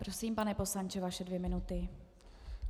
Prosím, pane poslanče, vaše dvě minuty.